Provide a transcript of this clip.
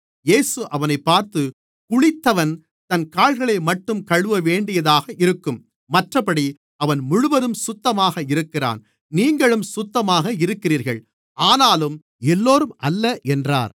இயேசு அவனைப் பார்த்து குளித்தவன் தன் கால்களைமட்டும் கழுவவேண்டியதாக இருக்கும் மற்றப்படி அவன் முழுவதும் சுத்தமாக இருக்கிறான் நீங்களும் சுத்தமாக இருக்கிறீர்கள் ஆனாலும் எல்லோரும் அல்ல என்றார்